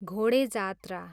घोडे जात्रा